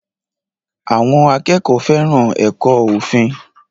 Àwọn akẹ́kọ̀ọ́ fẹ́ràn ẹ̀kọ́ òfin